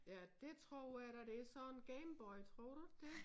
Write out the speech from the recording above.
Ja dét tror jeg da det sådan en Gameboy tror du ikke det?